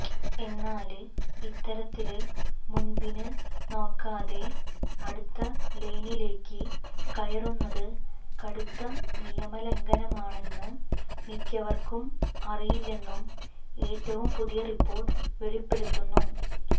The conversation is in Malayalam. എന്നാല് ഇത്തരത്തില് മുന്പിന് നോക്കാതെ അടുത്ത ലെയ്നിലേക്ക് കയറുന്നത് കടുത്ത നിയമലംഘനമാണെന്ന് മിക്കവര്ക്കും അറിയില്ലെന്നും ഏറ്റവും പുതിയ റിപ്പോര്ട്ട് വെളിപ്പെടുത്തുന്നു